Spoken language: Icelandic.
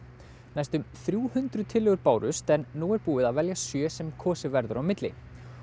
næstum þrjú hundruð tillögur bárust en nú er búið að velja sjö sem kosið verður á milli